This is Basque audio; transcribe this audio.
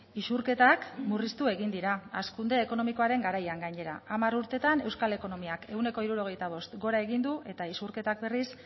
isurketak murriztu egin dira hazkunde ekonomikoaren garaian gainera hamar urteetan euskal ekonomiak ehuneko hirurogeita bost gora egin du eta isurketak berriz